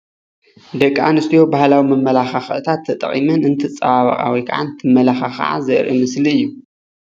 ደቂ አንስትዮ ባህላዊ መመላካክዒታት ተጠቂመን እንትፀባበቃ ወይ ከዓ እንትመላካክዓ ዘርእይ ምስሊ እዩ::